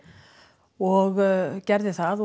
og gerði það